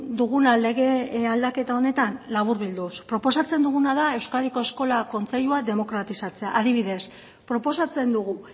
duguna lege aldaketa honetan laburbilduz proposatzen duguna da euskadiko eskola kontseilua demokratizatzea adibidez proposatzen dugu